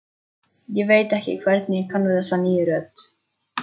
Ég veit ekki hvernig ég kann við þessa nýju rödd.